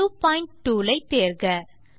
new point tool ஐ தேர்க